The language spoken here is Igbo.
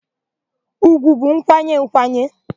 Ùgwù bụ nkwanye nkwanye.